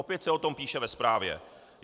Opět se o tom píše ve zprávě.